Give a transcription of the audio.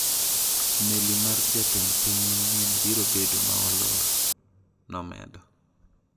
"Meli mar jatend piny manyien biro bedo ma olor,"nomedo.